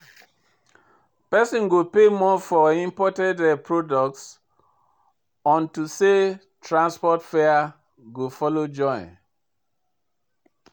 Pesin go pay more for imported products unto say transport fare go follow join.